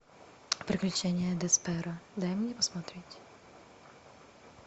приключения десперо дай мне посмотреть